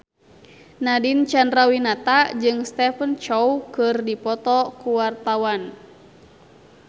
Nadine Chandrawinata jeung Stephen Chow keur dipoto ku wartawan